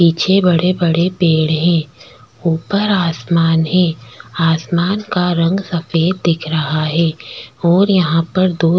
पिछे बड़े-बड़े पेड़ है ऊपर आसमान है आसमान रंग सफ़ेद दिख रहा है और यहाँ पर दो--